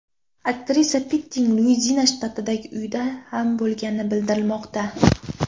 Aktrisa Pittning Luiziana shtatidagi uyida ham bo‘lgani bildirilmoqda.